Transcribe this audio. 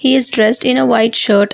he is dressed in a white shirt.